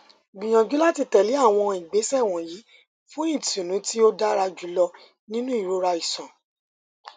gbiyanju lati tẹle awọn igbesẹ wọnyi fun itunu ti o dara julọ ninu irora iṣan